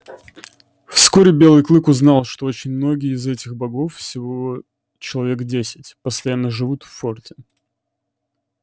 вскоре белый клык узнал что очень многие из этих богов всего человек десять постоянно живут в форте